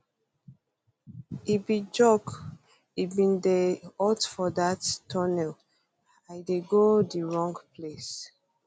e bin joke e bin dey hot for dat tunnel i dey go di wrong place